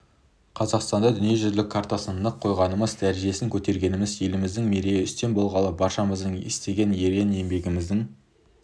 қазақстанды дүниежүзінің картасына нық қойғанымыз дәрежесін көтергеніміз еліміздің мерейі үстем болғаны баршамыздың істеген ерен еңбегіміздің